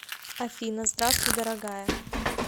афина здравствуй дорогая